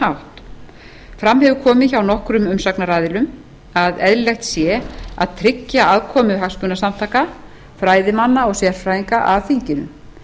hátt fram hjá komi hjá nokkrum umsagnaraðilum að eðlilegt sé að tryggja aðkomu hagsmunasamtaka fræðimanna og sérfræðinga að þinginu